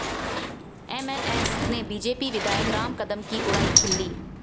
MNS ने BJP विधायक राम कदम की उड़ाई खिल्ली